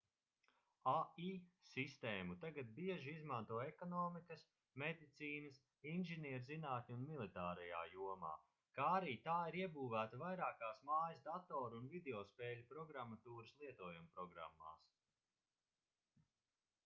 ai sistēmu tagad bieži izmanto ekonomikas medicīnas inženierzinātņu un militārajā jomā kā arī tā ir iebūvēta vairākās mājas datoru un videospēļu programmatūras lietojumprogrammās